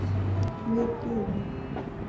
Við Gyða